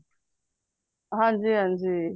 ਹਨਜੀ ਹਨਜੀ